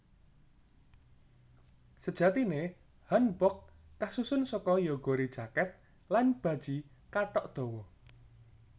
Sejatine hanbok kasusun saka jeogori jaket lan baji kathok dawa